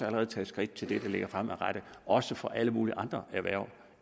allerede taget skridt til det der ligger fremadrettet også for alle mulige andre erhverv